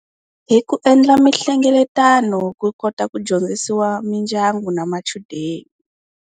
Hi ku endla mihlengeletano ku kota ku dyondzisiwa mindyangu na machudeni.